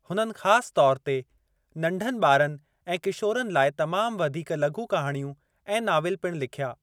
हुननि ख़ासि तौर ते नंढनि ॿारनि ऐं किशोरनि लाइ तमाम वधीक लघु कहाणियूं ऐं नाविल पिणु लिखिया।